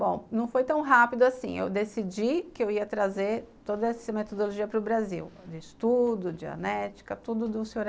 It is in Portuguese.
Bom, não foi tão rápido assim, eu decidi que eu ia trazer toda essa metodologia para o Brasil, de estudo, dianética, tudo do Sr.